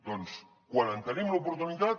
doncs quan en tenim l’oportunitat